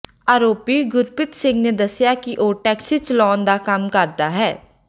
ਆਰੋਪੀ ਗੁਰਪ੍ਰੀਤ ਸਿੰਘ ਨੇ ਦਸਿਆ ਕਿ ਉਹ ਟੈਕਸੀ ਚਲਾਉਣ ਦਾ ਕੰਮ ਕਰਦਾ ਹੈ